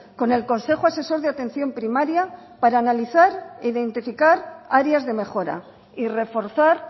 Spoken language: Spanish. con el consejo asesor de atención primaria para analizar e identificar áreas de mejora y reforzar